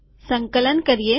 સંકલન કરીએ